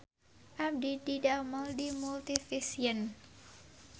Abdi didamel di Multivision